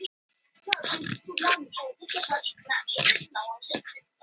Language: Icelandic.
Það voru tólf glæsilegir vinningar, samtals að verðmæti hátt í þrjú þúsund krónur.